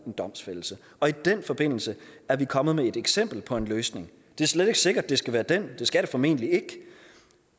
en domsfældelse og i den forbindelse er vi kommet med et eksempel på en løsning det er slet ikke sikkert det skal være den det skal det formentlig ikke